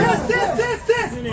Tez, tez, tez, tez.